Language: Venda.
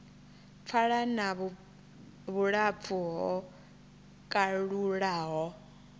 pfala na vhulapfu ho kalulaho